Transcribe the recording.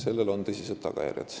Sellel on tõsised tagajärjed.